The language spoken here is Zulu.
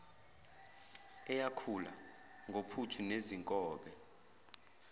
eyakhula ngophuthu nezinkobe